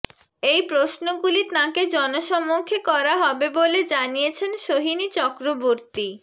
এই প্রশ্নগুলি তাঁকে জনসমক্ষে করা হবে বলে জানিয়েছেন সোহিনী চক্রবর্তী